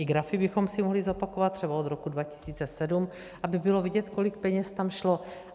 I grafy bychom si mohli zopakovat, třeba od roku 2007, aby bylo vidět, kolik peněz tam šlo.